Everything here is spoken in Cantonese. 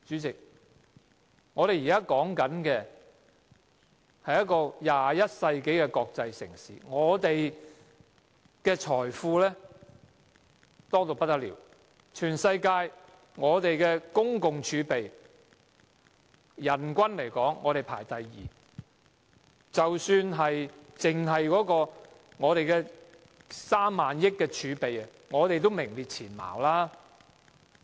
代理主席，香港是一個21世紀的國際城市，財富豐厚，我們的人均財政儲備排名世界第二，即使只計及3萬億元儲備，也是名列前茅。